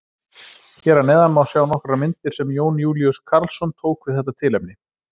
Hér að neðan má sjá nokkrar myndir sem Jón Júlíus Karlsson tók við þetta tilefni.